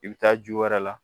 I bɛ taa ju wɛrɛ la